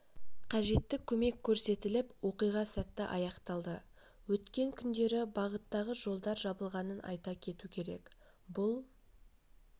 қажетті көмек көрсетіліп оқиға сәтті аяқталды өткен күндері бағыттағы жолдар жабылғанын айта кету керек бұл